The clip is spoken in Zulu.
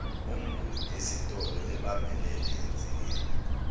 umnguni esitoloebambelele ensikeni